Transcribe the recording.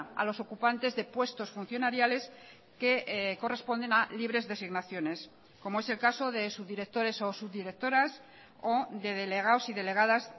a los ocupantes de puestos funcionariales que corresponden a libres designaciones como es el caso de subdirectores o subdirectoras o de delegados y delegadas